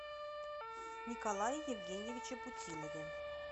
николае евгеньевиче путилове